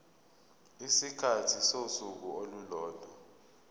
isikhathi sosuku olulodwa